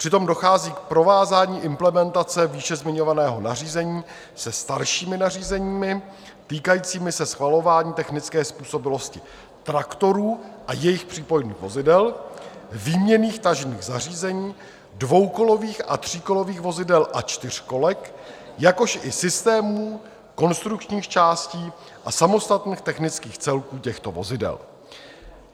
Přitom dochází k provázání implementace výše zmiňovaného nařízení se staršími nařízeními, týkajícími se schvalování technické způsobilosti traktorů a jejich přípojných vozidel, výměnných tažných zařízení, dvoukolových a tříkolových vozidel a čtyřkolek, jakož i systémů, konstrukčních částí a samostatných technických celků těchto vozidel.